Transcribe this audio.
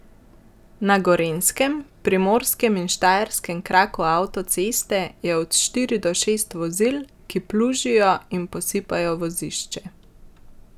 Na gorenjskem, primorskem in štajerskem kraku avtoceste je od štiri do šest vozil, ki plužijo in posipajo vozišče.